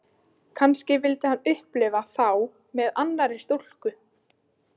Kannski vildi hann upplifa þá með annarri stúlku.